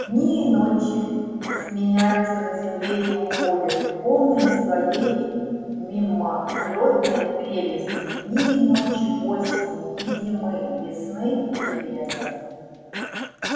дни и ночи сменяются на земле и уходят полные своей мимолётной прелести дни и ночи осени и зимы весны и лета